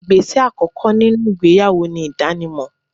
Igbese àkókò nínú ìgbéyàwó ni idanimo